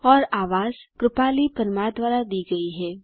और आवाज जया मिश्रा द्वारा दी गई है